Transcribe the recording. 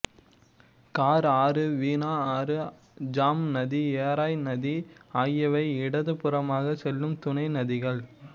car ஆறு வீணா ஆறு ஜாம் நதி எராய் நதி ஆகியவை இடது புறமாகச் செல்லும் துணை நதிகள்